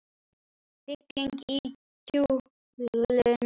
Fylling í kúluna.